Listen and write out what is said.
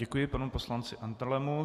Děkuji panu poslanci Andrlemu.